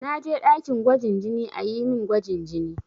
Na je ɗakin gwajin jini a yi min gwajin jini.